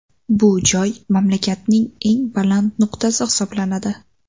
Bu joy mamlakatning eng baland nuqtasi hisoblanadi.